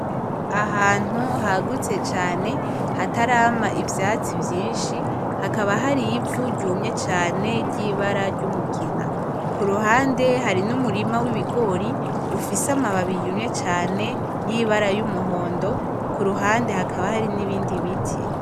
Ahantu hagutse cane hatarama ivyatsi vyinshi hakaba hari ivu ryumye cane ryibara ry'umugina kuruhande hari n'umurima w'ibigori ufise amababi yumye cane yibara yumuhondo kuruhande hakaba hari nibindi biti .